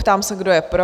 Ptám se, kdo je pro?